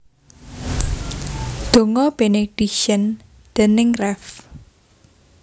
Donga Benediction déning Rev